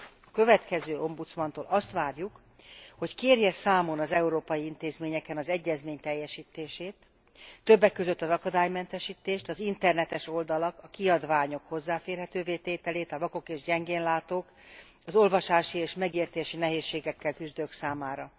A következő ombudsmantól azt várjuk, hogy kérje számon az európai intézményeken az egyezmény teljesítését, többek között az akadálymentesítést, az internetes oldalak, a kiadványok hozzáférhetővé tételét a vakok és gyengén látók, az olvasási és megértési nehézségekkel küzdők számára.